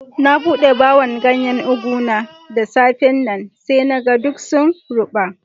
Na bude buhu'n ganyen ugu na da safe'n nan. Sai na gan duk sun ruba.